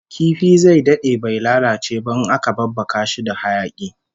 Kifi zai dade bai lalace ba in aka babbaka shi da hayaki